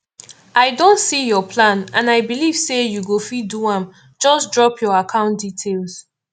i don see your plan and i believe say you go fit do am just drop your account details